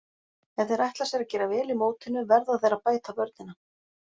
Ef þeir ætla sér að gera vel í mótinu verða þeir að bæta vörnina.